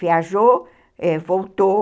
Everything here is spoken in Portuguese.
Viajou, voltou,